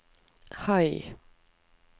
høy